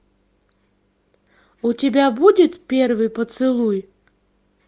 у тебя будет первый поцелуй